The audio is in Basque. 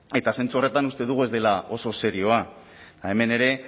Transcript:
eta zentzu horretan uste dugu ez dela oso serioa hemen ere